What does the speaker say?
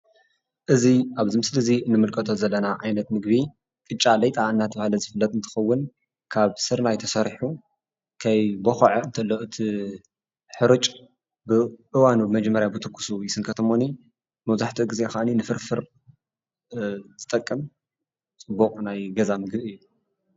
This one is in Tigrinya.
እዚ አብዚ ምስሊ እዚ ንምልከቶ ዘለና ዓይነት ምገቢ ቅጫ ሌጣ እናተባህለ ዝፍለጥ እንትከውን ካብ ስርናይ ተሰሪሑ ከይቦክዕ ከሎ እቲ ሕሩጭ ብእዋኑ መጀመሪያ ብትኩስ ይስንከት እሞኒይ መብዛሕቲኡ ግዜ ከዓኒ ንፍርፍር ዝጠቅም ፅቡቅ ናይ ገዛ ምግቢ እዩ፡፡